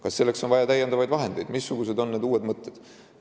Kas selleks on vaja täiendavaid vahendeid ja missugused on uued mõtted?